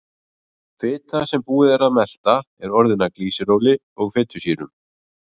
Fita sem búið er að melta er orðin að glýseróli og fitusýrum.